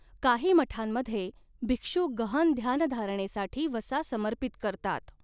काही मठांमध्ये, भिक्षु गहन ध्यानधारणेसाठी वसा समर्पित करतात.